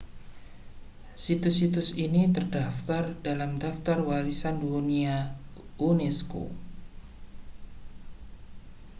situs-situs ini terdaftar pada daftar warisan dunia unesco